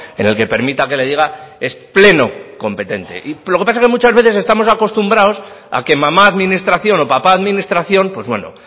en el que permita que le diga es pleno competente y lo que pasa que muchas veces estamos acostumbrados a que mamá administración o papá administración pues bueno